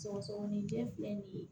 Sɔgɔsɔgɔnijɛ filɛ nin ye